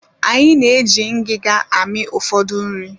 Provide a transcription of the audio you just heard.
Anyị na-eji ngiga amị ụfọdụ nri